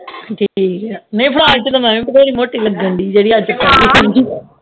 ਠੀਕ ਆ ਨਹੀਂ ਫਰਾਕ ਵਿਚ ਤੇ ਮੈਵਿ ਬਥੇਰੀ ਮੋਟੀ ਲਗਣ ਡਈ ਜਿਹੜੀ ਅੱਜ ਪਾਏ ਹੀ